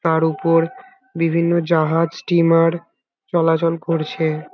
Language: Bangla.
তার উপর বিভিন্ন জাহাজ স্ট্রিমার চলাচল করছে।